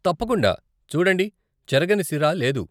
తప్పకుండా, చూడండి, చెరగని సిరా లేదు.